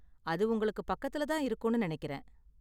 அது உங்களுக்கு பக்கத்துல தான் இருக்கும்னு நினைக்கறேன்.